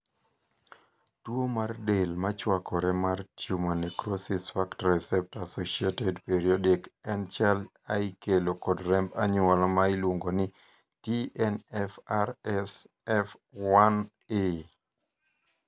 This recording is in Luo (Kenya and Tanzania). tuo mar del machwakore mar Tumor necrosis factor receptor associated periodic en chal a ikelo kod remb anyuola ma iluongo ni TNFRSF1A